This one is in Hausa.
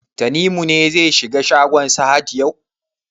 Tanimu ne zai shiga shagon Sahad yau?